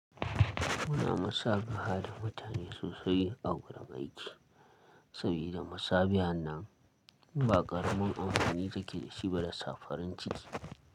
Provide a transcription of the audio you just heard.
Muna masabaha da mutane sosai a wurin aiki, sabida masabahan nan ba ƙaramin amfani da ke da shi ba da sa farin ciki.